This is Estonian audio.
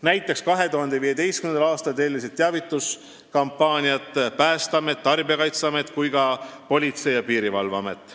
Näiteks 2015. aastal tellisid sealt teavituskampaaniaid nii Päästeamet, Tarbijakaitseamet kui ka Politsei- ja Piirivalveamet.